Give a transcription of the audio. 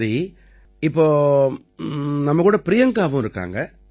சரி இப்ப நம்ம கூட பிரியங்காவும் இருக்காங்க